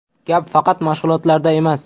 Gap faqat mashg‘ulotlarda emas.